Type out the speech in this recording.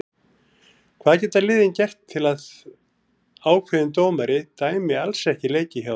Hvað geta liðin gert til að ákveðin dómari dæmi alls ekki leiki hjá þeim?